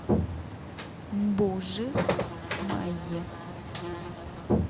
мбужи майи